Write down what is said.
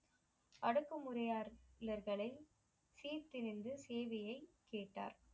அடுக்கு முறையாளர் களை சீத்து நின்று செய்தியை கேட்டார்